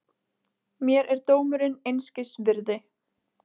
Mér er dómurinn einskis virði.